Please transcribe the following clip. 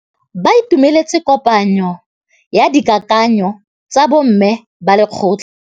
Ba itumeletse kôpanyo ya dikakanyô tsa bo mme ba lekgotla.